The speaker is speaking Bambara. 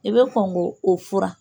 I bɛ kɔn k'o fura